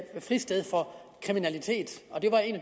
fristed for kriminalitet